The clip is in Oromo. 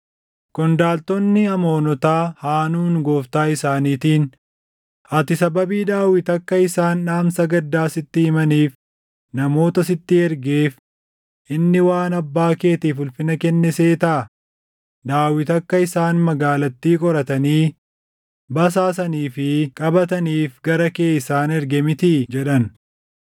qondaaltonni Amoonotaa Haanuun gooftaa isaaniitiin, “Ati sababii Daawit akka isaan dhaamsa gaddaa sitti himaniif namoota sitti ergeef inni waan abbaa keetiif ulfina kenne seetaa? Daawit akka isaan magaalattii qoratanii, basaasanii fi qabataniif gara kee isaan erge mitii?” jedhan.